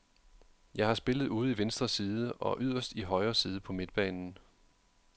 Jeg har spillet ude i venstre side og yderst i højre side på midtbanen.